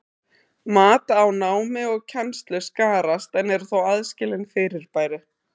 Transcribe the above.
Mat á námi og kennslu skarast en eru þó aðskilin fyrirbæri.